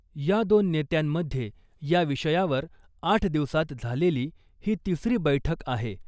या दोन नेत्यांमधे या विषयावर आठ दिवसांत झालेली ही तिसरी बैठक आहे .